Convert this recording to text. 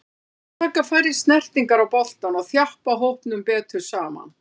Við þurfum að taka færri snertingar á boltann og þjappa hópnum betur saman.